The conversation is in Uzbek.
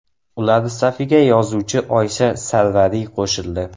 Ular safiga yozuvchi Oysha Sarvariy qo‘shildi.